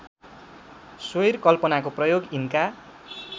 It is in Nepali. स्वैरकल्पनाको प्रयोग यिनका